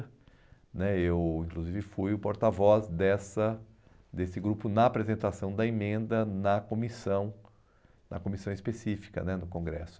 né eu, inclusive, fui o porta-voz dessa desse grupo na apresentação da emenda na comissão na comissão específica né do Congresso.